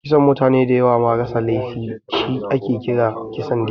Kisan mutane dayawa ma rasa laifi shi ake kira Kisan gilla